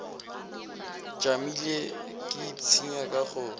tšamile ke ipshina ka go